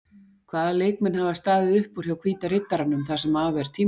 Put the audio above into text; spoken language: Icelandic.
Hvaða leikmenn hafa staðið upp úr hjá Hvíta riddaranum þar sem af er tímabili?